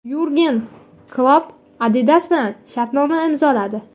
Yurgen Klopp Adidas bilan shartnoma imzoladi.